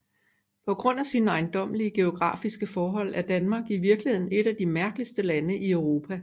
På grund af sine ejendommelige geografiske forhold er Danmark i virkeligheden et af de mærkeligste lande i Europa